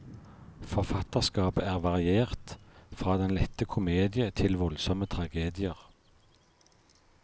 Forfatterskapet er variert, fra den lette komedie til voldsomme tragedier.